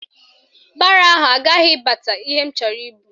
Baro ahụ agaghị abata ihe m chọrọ ibu